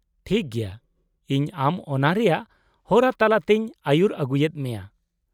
-ᱴᱷᱤᱠ ᱜᱮᱭᱟ, ᱤᱧ ᱟᱢ ᱚᱱᱟ ᱨᱮᱭᱟᱜ ᱦᱚᱨᱟ ᱛᱟᱞᱟᱛᱮᱧ ᱟᱹᱭᱩᱨ ᱟᱹᱜᱩᱭᱮᱫ ᱢᱮᱭᱟ ᱾